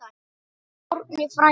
Árni frændi!